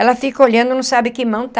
Ela fica olhando e não sabe que mão está.